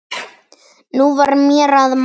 Nú var mér að mæta!